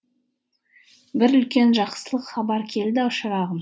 бір үлкен жақсылық хабар келді ау шырағым